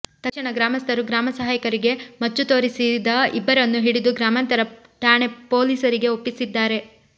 ತಕ್ಷಣ ಗ್ರಾಮಸ್ಥರು ಗ್ರಾಮ ಸಹಾಯಕರಿಗೆ ಮಚ್ಚು ತೋರಿಸಿದ ಇಬ್ಬರನ್ನು ಹಿಡಿದು ಗ್ರಾಮಾಂತರ ಠಾಣೆ ಪೊಲೀಸರಿಗೆ ಒಪ್ಪಿಸಿದ್ದಾರೆ